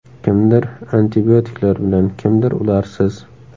Kimdir antibiotiklar bilan, kimdir ularsiz.